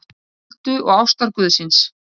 Öldu og ástarguðsins.